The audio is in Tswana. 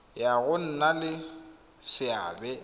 ya go nna le seabe